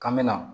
K'an bɛ na